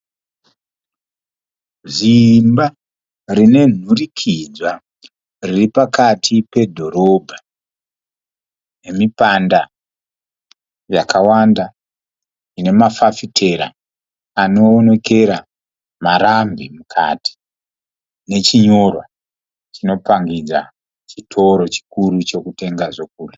Ziimba rine nhurikidzwa riri pakati pedhorobha. Mipanda yakawanda ine mafafitera anoonekera marambi mukati nechinyorwa chinopangidza chitoro chikuru chokutenga zvokudya.